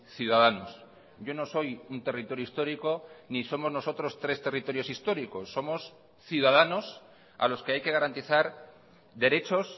ciudadanos yo no soy un territorio histórico ni somos nosotros tres territorios históricos somos ciudadanos a los que hay que garantizar derechos